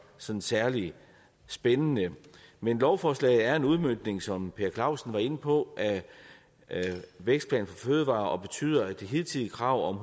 sådan særlig spændende men lovforslaget er en udmøntning som herre per clausen var inde på af vækstplan for fødevarer og det betyder at det hidtidige krav om